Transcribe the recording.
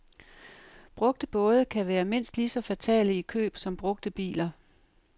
Brugte både kan være mindst lige så fatale i køb som brugte biler.